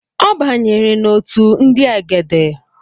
Ọ banyere n’otu ndị egede